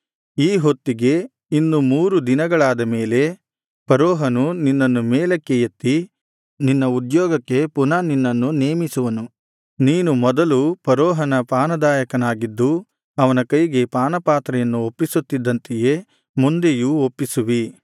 ಈ ಹೊತ್ತಿಗೆ ಇನ್ನು ಮೂರು ದಿನಗಳಾದ ಮೇಲೆ ಫರೋಹನು ನಿನ್ನನ್ನು ಮೇಲಕ್ಕೆ ಎತ್ತಿ ನಿನ್ನ ಉದ್ಯೋಗಕ್ಕೆ ಪುನಃ ನಿನ್ನನ್ನು ನೇಮಿಸುವನು ನೀನು ಮೊದಲು ಫರೋಹನ ಪಾನದಾಯಕನಾಗಿದ್ದು ಅವನ ಕೈಗೆ ಪಾನಪಾತ್ರೆಯನ್ನು ಒಪ್ಪಿಸುತ್ತಿದ್ದಂತೆಯೇ ಮುಂದೆಯೂ ಒಪ್ಪಿಸುವಿ